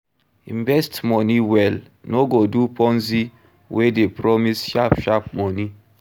Invest money well, no go do ponzi wey dey promise sharp sharp money